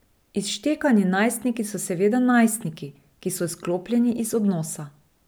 Izštekani najstniki so seveda najstniki, ki so izklopljeni iz odnosa.